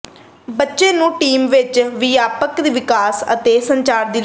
ਬੱਚੇ ਨੂੰ ਟੀਮ ਵਿਚ ਵਿਆਪਕ ਵਿਕਾਸ ਅਤੇ ਸੰਚਾਰ ਦੀ ਲੋੜ ਹੈ